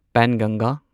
ꯄꯦꯟꯒꯪꯒꯥ